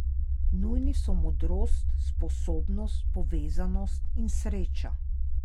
Nujni so modrost, sposobnost, povezanost in sreča.